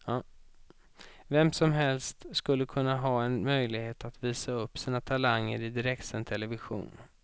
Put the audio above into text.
Vem som helst skulle kunna ha en möjlighet att visa upp sina talanger i direktsänd television.